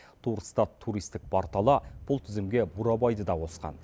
турстат туристік порталы бұл тізімге бурабайды да қосқан